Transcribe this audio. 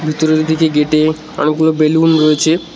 ভিতরের দিকে গেটে অনেকগুলো বেলুন রয়েছে।